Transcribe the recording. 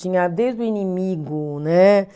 Tinha desde o inimigo né